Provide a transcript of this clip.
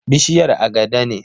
Bishiyar agada ne.